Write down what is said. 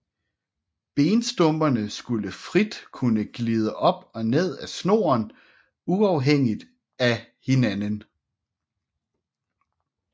Benstumperne skulle frit kunne glide op og ned ad snoren uafhængigt af hinanden